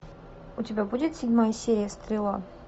у тебя будет седьмая серия стрела